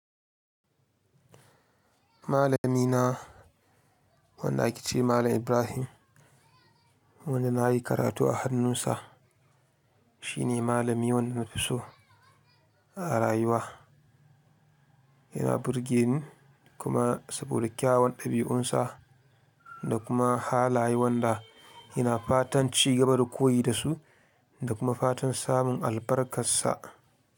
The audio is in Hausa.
Malami na, wanda ake ce Malam Ibrahim, wanda na yi karatu a hannunsa. Shi ne malami wanda na fi so a rayuwa. Yana birgeni kuma saboda kyawun ɗabi'unsa da kuma halaye wanda Ina fatan cigaba da koyi da su da kuma fatan samun albarkarsa.